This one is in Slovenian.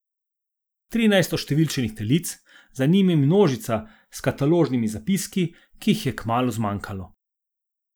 Trinajst oštevilčenih telic, za njimi množica s kataložnimi zapiski, ki jih je kmalu zmanjkalo.